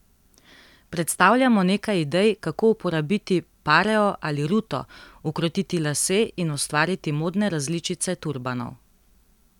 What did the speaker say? Predstavljamo nekaj idej, kako uporabiti pareo ali ruto, ukrotiti lase in ustvariti modne različice turbanov.